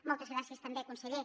moltes gràcies també conseller